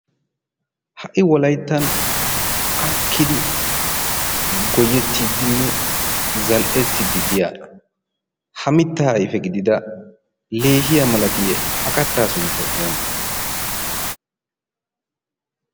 ha''i wolayttan akkidi goyettiddinne zal''ettiddi diyaa ha mittaa ayfe gidida leehiya malatiye ha kattaa sunttay oone